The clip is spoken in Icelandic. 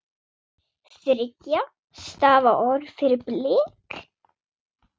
Þriggja stafa orð fyrir blek?